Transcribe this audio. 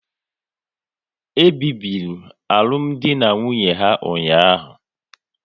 E bibiri alụmdi na nwunye ha ụnyaahụ